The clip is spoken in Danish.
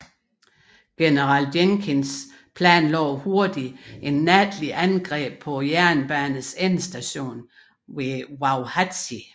General Jenkins planlagde hurtigt et natligt angreb på jernbanens endestation ved Wauhatchie